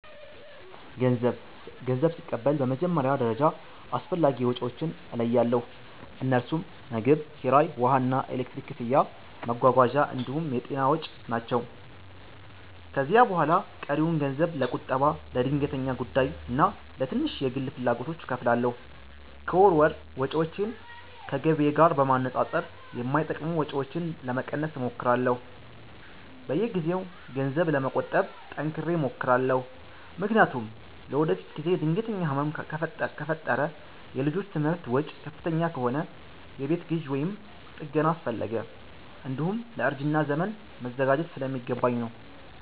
ገንዘብ ስቀበል በመጀመሪያ ደረጃ አስፈላጊ ወጪዎቼን እለያለሁ፤ እነርሱም ምግብ፣ ኪራይ፣ ውሃና ኤሌክትሪክ ክፍያ፣ መጓጓዣ እንዲሁም የጤና ወጪ ናቸው። ከዚያ በኋላ ቀሪውን ገንዘብ ለቁጠባ፣ ለድንገተኛ ጉዳይና ለትንሽ የግል ፍላጎቶች እከፋፍላለሁ። ከወር ወር ወጪዎቼን ከገቢዬ ጋር በማነጻጸር የማይጠቅሙ ወጪዎችን ለመቀነስ እሞክራለሁ። በየጊዜው ገንዘብ ለመቆጠብ ጠንክሬ እሞክራለሁ፤ ምክንያቱም ለወደፊት ጊዜ ድንገተኛ ህመም ከፈጠረ፣ የልጆች ትምህርት ወጪ ከፍተኛ ከሆነ፣ የቤት ግዢ ወይም ጥገና አስፈለገ፣ እንዲሁም ለእርጅና ዘመን መዘጋጀት ስለሚገባኝ ነው።